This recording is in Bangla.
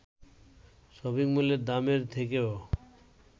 শপিংমলের দামের থেকেও